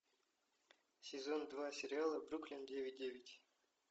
сезон два сериала бруклин девять девять